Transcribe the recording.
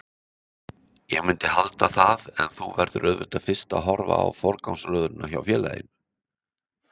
Ég myndi halda það en þú verður auðvitað fyrst að horfa á forgangsröðunina hjá félaginu.